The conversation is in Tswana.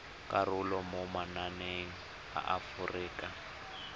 karolo mo mananeng a aforika